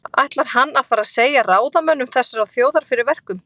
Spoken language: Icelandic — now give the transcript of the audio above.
Ætlar hann að fara að segja ráðamönnum þessarar þjóðar fyrir verkum?